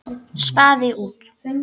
Spaði út.